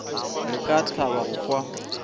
re ka thaba go kwa